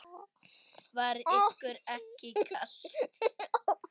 Var ykkur ekki kalt?